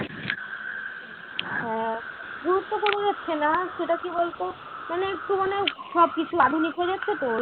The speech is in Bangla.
হ্যাঁ গুরুত্ব কমে যাচ্ছে না সেটা কী বলতো মানে একটু মানে সব কিছু আধুনিক হয়ে যাচ্ছে তো ওই